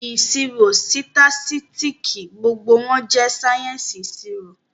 Ìṣirò, sitasitiki, gbogbo wọn jẹ sáyẹ́ǹsì ìṣirò